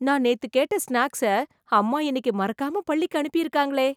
நான் நேத்து கேட்ட ஸ்நாக்ஸை, அம்மா இன்னிக்கு மறக்காம பள்ளிக்கு அனுப்பிருக்காங்களே...